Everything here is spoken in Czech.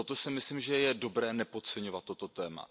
Myslím si, že je dobré nepodceňovat toto téma.